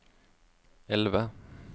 elve